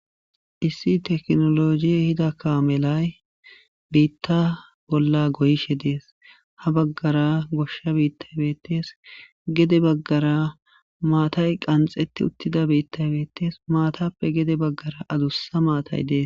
issi tekinolojiye ehida kaamelay biitta bolla goyishe dees ha baggara goshsha biittay beetes gede baggara maatay qanxete uttida biittay beettees maatappe gede baggara adussa maatay dees